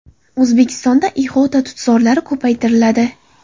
O‘zbekistonda ihota tutzorlari ko‘paytiriladi.